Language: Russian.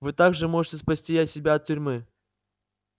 вы также можете спасти себя от тюрьмы